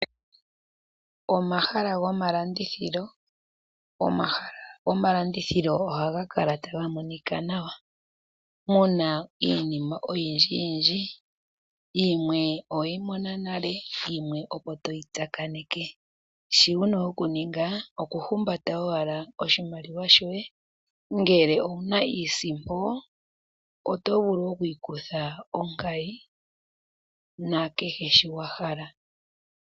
Omahala gomalandithilo. Omahala gomalandithilo ohaga kala taga monika nawa muna iinima oyindji yindji yimwe oweyi mona nale yimwe opo toyi tsakaneke . shi wuna okuninga okuhumbata owala oshimaliwa shoye ngele owuna iisimpo otovulu oku ikutha onkayi na kehe sho wahala.